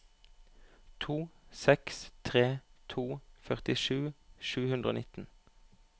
to seks tre to førtisju sju hundre og nitten